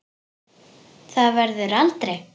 Það verður aldrei.